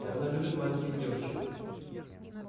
и она любит маленьких девочек